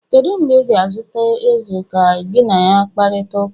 Kedu mgbe ị ga-ezute eze ka gị na ya kparịta ụka?